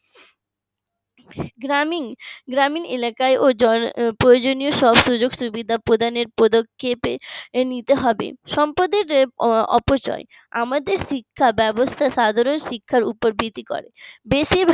গ্রামীন গ্রামীন এলাকায় প্রয়োজনীয় সব সুযোগ-সুবিধা প্রদানের পদক্ষেপে নিতে হবে সম্পদের অপচয় আমাদের শিক্ষা ব্যবস্থা সাধারণ শিক্ষার উপর ভিত্তি করে বেশিরভাগ